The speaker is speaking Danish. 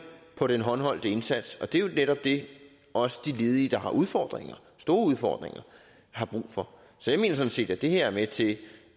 på den håndholdte indsats og det er jo netop det også de ledige der har udfordringer store udfordringer har brug for så jeg mener sådan set at det her er med til